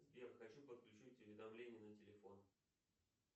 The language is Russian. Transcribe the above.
сбер хочу подключить уведомления на телефон